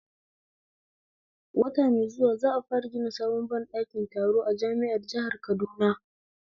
Wata mai zuwa za'a fara gina sabon ɓɗakin taro a jami'ar jihar Kaduna